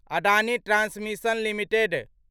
Adani transmission limited